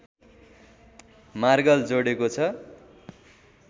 मार्गले जोडेको छ